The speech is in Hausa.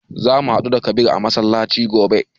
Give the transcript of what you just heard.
Za mu haɗu da Kabir a masallaci gobe.